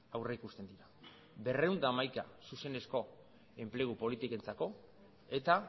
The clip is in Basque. aurrikusten dira berrehun eta hamaika zuzenezko enplegu politikentzako eta